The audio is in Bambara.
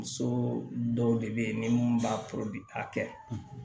Muso dɔw de bɛ yen ni mun b'a a kɛ